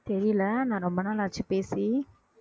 தெரியலே நான் ரொம்ப நாளாச்சு பேசி